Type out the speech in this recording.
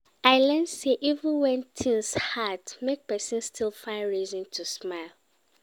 I learn sey even wen tins hard, make pesin still find reason to smile